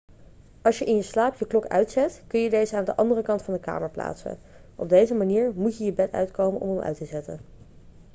als je in je slaap je klok uitzet kun je deze aan de andere kant van de kamer plaatsen op deze manier moet je je bed uitkomen om hem uit te zetten